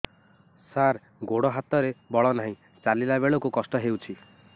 ସାର ଗୋଡୋ ହାତରେ ବଳ ନାହିଁ ଚାଲିଲା ବେଳକୁ କଷ୍ଟ ହେଉଛି